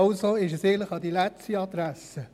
Also ist dies eigentlich die falsche Adresse.